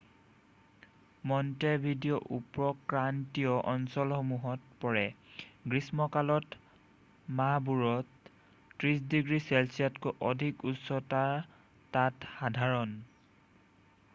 Montevideo উপক্ৰান্তীয় অঞ্চলসমূহত পৰে গ্ৰীষ্ম কালৰ মাহবোৰত 30° চেলচিয়াছতকৈ অধিক উষ্ণতা তাত সাধাৰণ